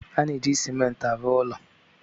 A na-eji Simenti arụ ụlọ.